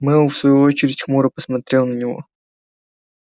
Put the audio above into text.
мэллоу в свою очередь хмуро посмотрел на него